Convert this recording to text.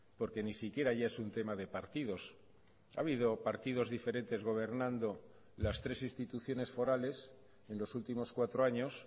porque ni siquiera ya es un tema de partidos ha habido partidos diferentes gobernando las tres instituciones forales en los últimos cuatro años